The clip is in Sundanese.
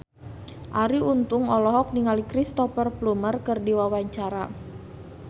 Arie Untung olohok ningali Cristhoper Plumer keur diwawancara